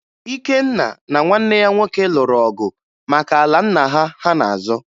Ikenna na nwanne ya nwoke lụrụ ọgụ maka ala nna ha ha na-azọ